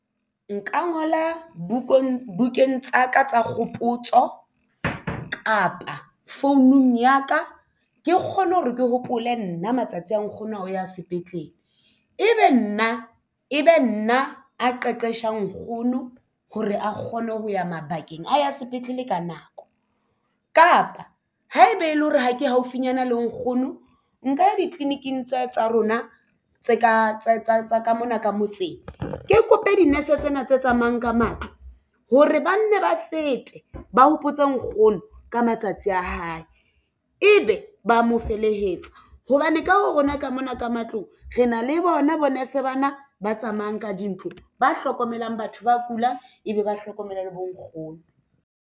Nka ngola bukeng tsaka tsa kgopotso kapa founung ya ka ke kgone hore ke hopole nna matsatsi a nkgono a ho ya sepetlele e be nna a qeqesha nkgono hore a kgone ho ya mabakeng a ya sepetlele ka nako kapa haeba e le hore ha ke haufinyana le nkgono nka ya ditleliniking tsa rona tse ka tsa ka mona ka motseng ke kope di-nurse tsena tse tsamayang ka matlo hore ba nne ba fete ba hopotse nkgono ka matsatsi a hae ebe ba mo felehetsa hobane ka ho rona ka mona ka matlong re na le bona bo nurse bana ba tsamayang ka dintlo ba hlokomelang batho ba kulang ebe ba hlokomela le bonkgono.